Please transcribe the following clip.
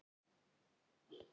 Maggi í okkar bekk?